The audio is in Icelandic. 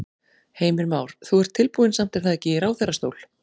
Heimir Már: Þú ert tilbúinn samt er það ekki í ráðherrastól?